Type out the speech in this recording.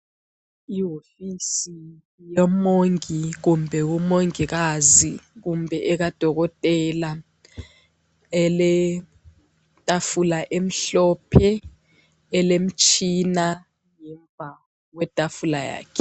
Iwofisi yoMongi kumbe uMongikazi kumbe ekaDokotela, eletafula emhlophe elemtshina ngemva kwetafula yakhe.